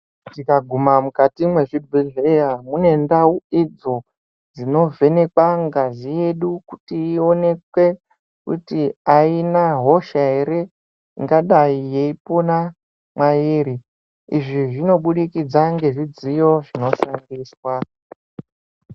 Tikaguma mukati mwezvibhedhleya ,mune ndau idzo dzinovhenekwa ngazi yedu kuti iwonekwe kuti ayina hosha ere, ingadayi yeipona mwairi. Izvi zvinobudikidza ngezvidziyo zvinoshandiswa.